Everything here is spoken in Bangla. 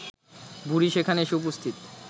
বুড়ি সেখানে এসে উপস্থিত